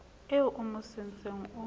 eo o mo sentseng o